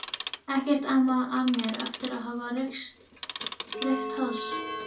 Ekkert amaði að mér eftir að hafa reykt hass.